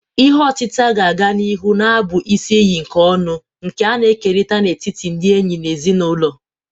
Ihe otita ga-aga n'ihu na-abụ isi iyi nke ọṅụ, nke a na-ekerịta n'etiti ndị enyi na ezinụlọ.